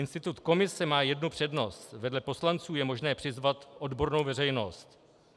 Institut komise má jednu přednost - vedle poslanců je možné přizvat odbornou veřejnost.